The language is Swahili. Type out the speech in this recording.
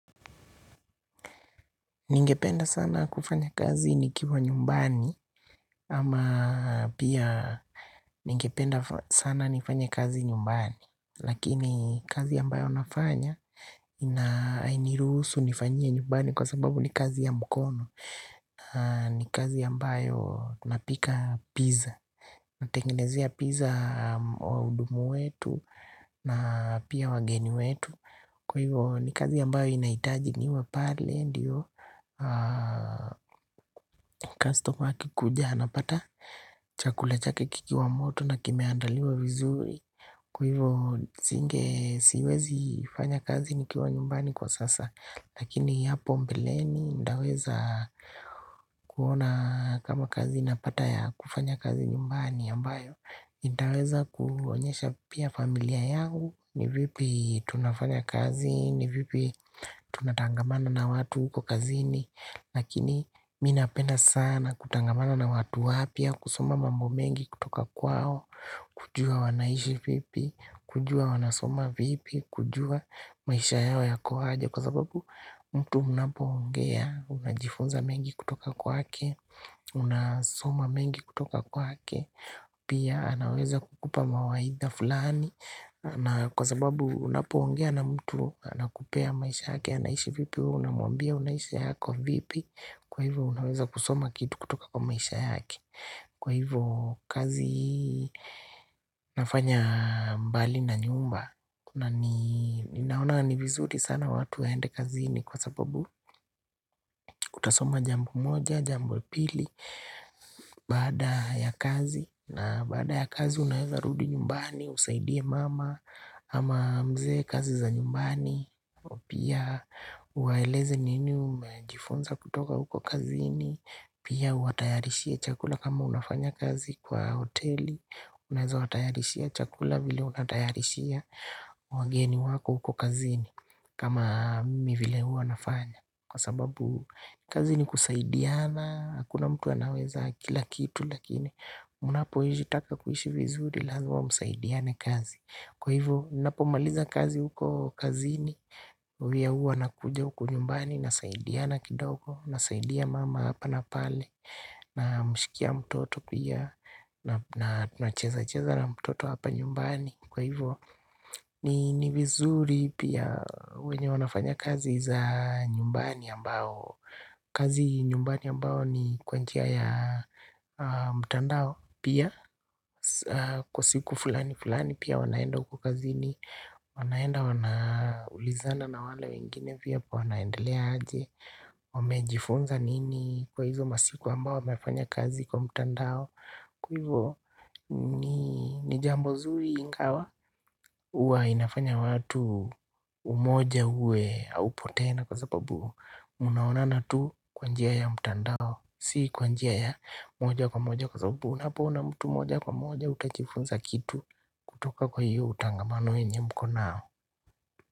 Ningependa sana kufanya kazi nikiwa nyumbani ama pia ningependa sana nifanye kazi nyumbani. Lakini kazi ambayo nafanya ina hainiruhusu nifanyie nyumbani kwa sababu ni kazi ya mkono. Ni kazi ambayo napika pizza. Natengenezea pizza wahudumu wetu na pia wageni wetu. Kwa hivyo ni kazi ambayo inahitaji niwe pale ndiyo. Kastoma akikuja anapata chakula chake kikiwa moto na kimeandaliwa vizuri. Kwa hivyo singe siwezi fanya kazi nikiwa nyumbani kwa sasa. Lakini hapo mbeleni ndaweza kuona kama kazi napata ya kufanya kazi nyumbani ambayo nitaweza kuonyesha pia familia yangu ni vipi tunafanya kazi ni vipi tunatangamana na watu huko kazini. Lakini mimi napenda sana kutangamana na watu wapya kusoma mambo mengi kutoka kwao kujua wanaishi vipi kujua wanasoma vipi kujua maisha yao yako aje. Kwa sababu mtu unapoongea unajifunza mengi kutoka kwake. Unasoma mengi kutoka kwake. Pia anaweza kukupa mawaidha fulani. Na kwa sababu unapoongea na mtu anakupea maisha yake. Anaishi vipi wewe unamwambia unaishi yako vipi. Kwa hivyo unaweza kusoma kitu kutoka kwa maisha yake. Kwa hivyo kazi nafanya mbali na nyumba na ni ninaona ni vizuri sana watu waende kazini kwa sababu kutasoma jambo moja, jambo pili. Baada ya kazi na baada ya kazi unaeza rudi nyumbani, usaidie mama ama mzee kazi za nyumbani. Pia uwaeleze nini umejifunza kutoka huko kazini. Pia uwatayarishie chakula kama unafanya kazi kwa hoteli. Unaeza watayarishia chakula vile unatayarishia wageni wako huko kazini kama mimi vile huwa nafanya. Kwa sababu kazi ni kusaidiana, hakuna mtu anaweza kila kitu. Lakini unapohizitaka kuishi vizuri lazima msaidiane kazi. Kwa hivo napomaliza kazi huko kazini. Huyaua na kuja huku nyumbani nasaidiana kidogo. Nasaidia mama hapa na pale namshikia mtoto pia. Na tunacheza cheza na mtoto hapa nyumbani. Kwa hivo ni vizuri pia wenye wanafanya kazi za nyumbani ambao kazi nyumbani ambao ni kwa njia ya mtandao. Pia kwa siku fulani fulani pia wanaenda huko kazini. Wanaenda wanaulizana na wale wengine vyapo wanaendelea aje. Wamejifunza nini kwa hizo masiku ambao wamefanya kazi kwa mtandao. Kwa hivo ni jambo zuri ingawa huwa inafanya watu umoja uwe haupo tena. Kwa sababu, mnaonana tu kwa njia ya mtandao. Si kwa njia ya moja kwa moja. Kwa sababu, unapiona mtu moja kwa moja. Utajifunza kitu kutoka kwa hiyo utangamano yenye mko nao.